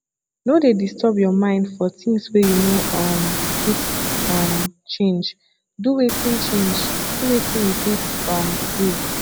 no dey disturb your mind for things wey you no um fit um change do wetin change do wetin you fit um do